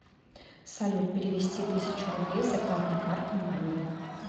салют перевести тысячу рублей с зарплатной карты маме